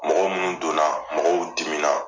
Mɔgɔ munnu donna mɔgɔw dimina